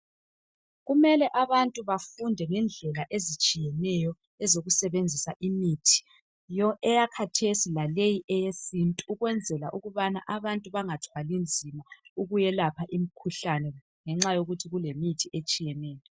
Kumele abantu bafunde ngendlela ezitshiyeneyo ezokusebenzisa imithi yesimanje leyesintu, ukwenzela ukubana abantu bangathwali nzima ukuyelapha imikhuhlane ngenxa yokuthi kulemithi etshiyeneyo.